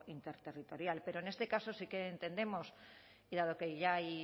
interterritorial pero en este caso sí que entendemos y dado que ya hay